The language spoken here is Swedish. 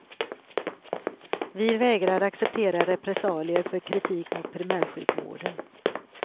Vi vägrar acceptera repressalier för kritik mot primärsjukvården.